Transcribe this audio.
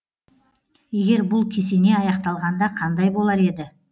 егер бұл кесене аяқталғанда қандай болар еді